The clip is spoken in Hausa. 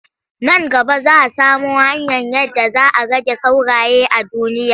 Nan gaba za samo hanyar yadda za a rage sauraye a duniya.